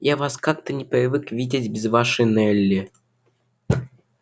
я вас как-то не привык видеть без вашей нелли